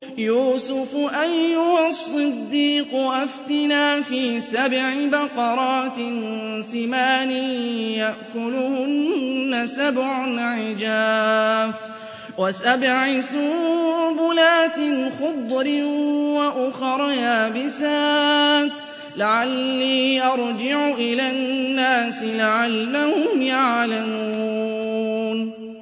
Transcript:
يُوسُفُ أَيُّهَا الصِّدِّيقُ أَفْتِنَا فِي سَبْعِ بَقَرَاتٍ سِمَانٍ يَأْكُلُهُنَّ سَبْعٌ عِجَافٌ وَسَبْعِ سُنبُلَاتٍ خُضْرٍ وَأُخَرَ يَابِسَاتٍ لَّعَلِّي أَرْجِعُ إِلَى النَّاسِ لَعَلَّهُمْ يَعْلَمُونَ